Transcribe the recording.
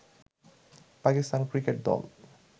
Pakistan cricket দল